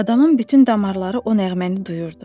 Adamın bütün damarları o nəğməni duyurdu.